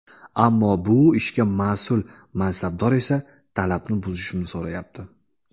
Ammo bu ishga mas’ul mansabdor esa talabni buzishimni so‘rayapti.